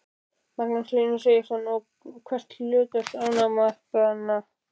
Magnús Hlynur Hreiðarsson: Og hvert er hlutverk ánamaðkanna?